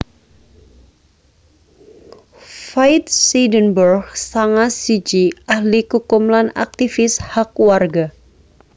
Faith Seidenberg sanga siji ahli kukum lan aktivis hak warga